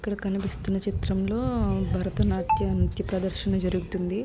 ఇక్కడ కనిపిస్తున్న చిత్రంలో భరతనాట్యం నృత్య ప్రదర్శన జరుగుతుంది.